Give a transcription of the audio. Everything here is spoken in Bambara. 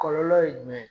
Kɔlɔlɔ ye jumɛn ye